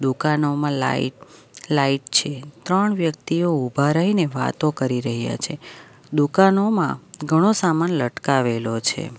દુકાનોમાં light light છે ત્રણ વ્યક્તિઓ ઉભા રહીને વાતો કરી રહ્યા છે દુકાનોમાં ઘણો સામાન લટકાવેલો છે.